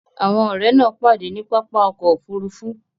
Àwọn ọ̀rẹ́ náà pàdé ní pápá ọkọ̀ Òfurufú